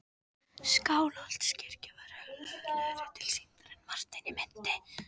Skálholtskirkja var hrörlegri tilsýndar en Martein minnti.